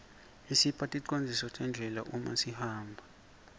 isipha ticondziso tendlela uma sihamba